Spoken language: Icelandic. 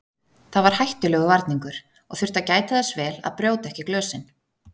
Það var hættulegur varningur og þurfti að gæta þess vel að brjóta ekki glösin.